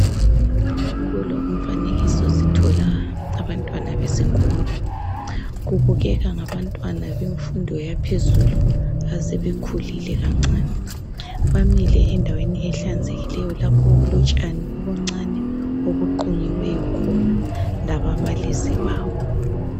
Kulo umfanekiso sithola abantwana besikolo kubukeka ngabantwana bemfundo yaphezulu asebekhulile kancane. Bamile endaweni ehlanzekileyo lapho okulotshani obuncane obuqunyiweyo khona lababalisi babo.